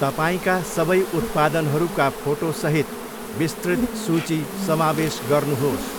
तपाईँका सबै उत्पादनहरूका फोटोसहित विस्तृत सूची समावेश गर्नुहोस्।